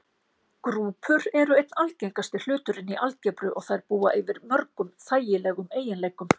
Grúpur eru einn einfaldasti hluturinn í algebru og þær búa yfir mörgum þægilegum eiginleikum.